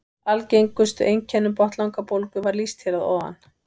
Algengustu einkennum botnlangabólgu var lýst hér að ofan.